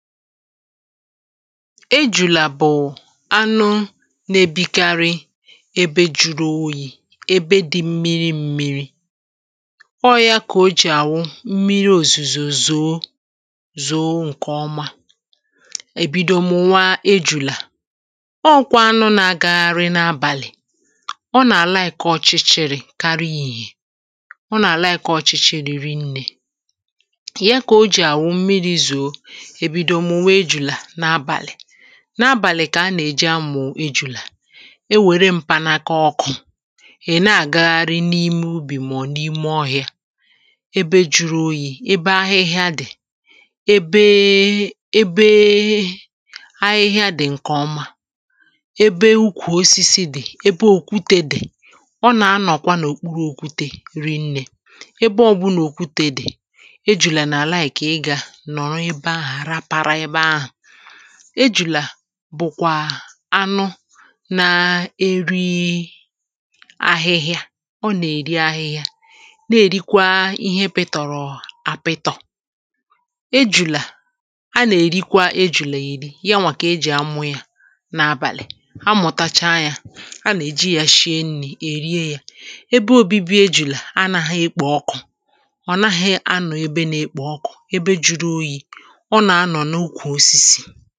ejùlè à bụ̀ anụ na-ebikarị ebe jụrụ oyi̇ ebe dị̇ mmiri m̀miri ọọ̇ yȧ kà o jì àwụ mmiri òzìzò zòo zòo ǹkè ọma èbido mụ nwa ejùlè à ọ gwa anụ na-agagharị n’abàlị̀ ọ nà-àlaì kà ọchịchị rì karịa yi̇ yè ọ nà-àlaì kà ọchịchị rì rìnnè ihe kà o jì àwụ mmiri zòo n’abàlị̀ kà a nà-èji amụ̀ ejùlà e wère mpanaka ọkụ̇ è na-àgagharị n’ime ubì mà ọ̀ n’ime ọhị̇ȧ ebe juru oyì, ebe ahịhịa dị̀ ebee ebee ahịhịa dị̀ ǹkèọma ebee ukwù osisi dị̀, ebee òkwute dị̀ ọ nà-anọ̀kwa n’òkpuru òkwute ri̇nnè ebe ọbụnà òkwute dị̀ ejùlà n’àlai kà ị gà nọrọ ejùlà bụ̀kwà anụ na-eri ahịhịa ọ nà-èri ahịhịa na-èrikwa ihe pịtọ̀rọ̀ àpụtọ̀ ejùlà a nà-èrikwa ejùlà èri ya nwàkà ejì amụ̀ ya na-abàlị̀ amụ̀tacha ya a nà-èji yȧ shie nri̇ èrie yȧ ebe òbibi ejùlà anà ha ekpò ọkụ̀ ọ̀ naghị̇ anụ̀ ebe nà-ekpò ọkụ̀ ebe juru oyi̇ okélen àch jụụ̀